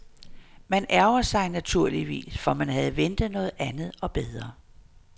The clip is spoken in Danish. Man ærgrer sig, naturligvis, for man havde ventet noget andet og bedre.